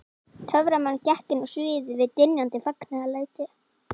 Töframaðurinn gekk inn á sviðið við dynjandi fagnaðarlæti.